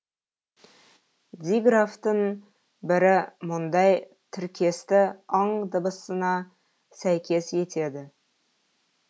диграфтың бірі мұндай тіркесті ң дыбысына сәйкес етеді